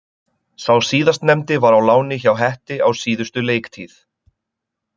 Sá síðastnefndi var á láni hjá Hetti á síðustu leiktíð.